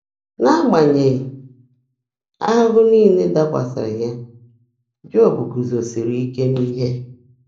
N’ágbányèghị́ áhụ́hụ́ níle dàkwásị́rị́ yá, Jọ́b gúúzósìrì íke n’íhe.